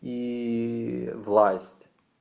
и власть